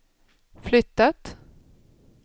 flyttat